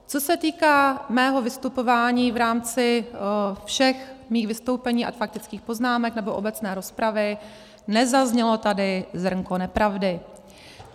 Co se týká mého vystupování v rámci všech mých vystoupení a faktických poznámek nebo obecné rozpravy, nezaznělo tady zrnko nepravdy.